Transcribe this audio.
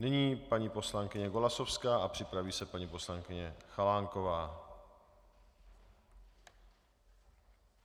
Nyní paní poslankyně Golasowská a připraví se paní poslankyně Chalánková.